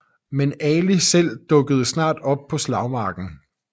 Men Ali selv dukkede snart op på slagmarken